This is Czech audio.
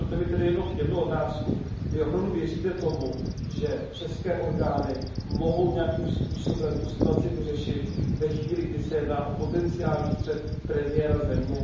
Dovolte mi tedy jenom jednu otázku Vy opravdu věříte tomu, že české orgány mohou nějakým způsobem tu situaci vyřešit ve chvíli, kdy se jedná o potenciální střet premiéra země?